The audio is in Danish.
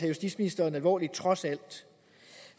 justitsministeren alvorligt trods alt